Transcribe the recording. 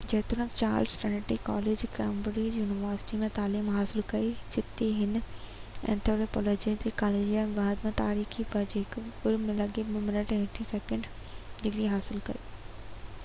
جيتوڻيڪ، Charles Trinity College Cambridge University ۾ تعليم حاصل ڪئي جتي هن اينٿروپولاجي ۽ آرڪيالاجي، ۽ بعد ۾ تاريخ پڙهي، هڪ 2:2 هيٺين سيڪنڊ ڪلاس ڊگري حاصل ڪئي